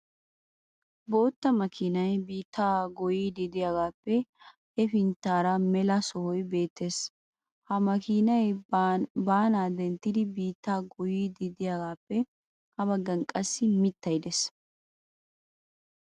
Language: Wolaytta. Bootta makkiinay biittaa goyiidi diyaagaappe hefintaara mela sohoy beettees. Ha makiinay baanaa denttidi biittaa goyiidi diyaagaappe ha bagan qassi mittay de'ees.